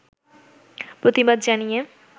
প্রতিবাদ জানিয়ে